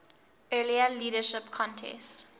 earlier leadership contest